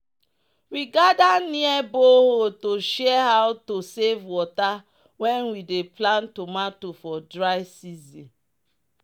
"we gather near borehole to share how to save water when we dey plant tomato for dry season."